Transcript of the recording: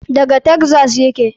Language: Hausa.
Daga taxas yake.